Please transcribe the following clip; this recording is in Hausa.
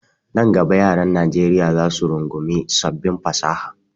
Nan gaba yaran Najeriya zac su rungumi sabbin fasaha.